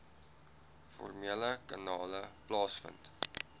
formele kanale plaasvind